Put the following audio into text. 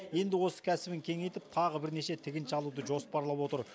енді осы кәсібін кеңейтіп тағы бірнеше тігінші алуды жоспарлап отыр